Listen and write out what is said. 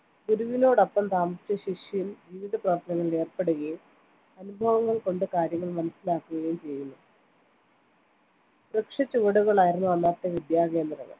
ഗുരുവിനോടൊപ്പം താമസിച്ച് ശിഷ്യൻ ജീവിതപ്രവർത്തനങ്ങളിൽ ഏർപ്പെടുകയും അനുഭവങ്ങൾകൊണ്ട് കാര്യങ്ങൾ മനസ്സിലാക്കു കയും ചെയ്യുന്നു വൃക്ഷച്ചുവടുകളായിരുന്നു അന്നത്തെ വിദ്യാകേന്ദ്രങ്ങൾ